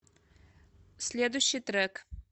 следующий трек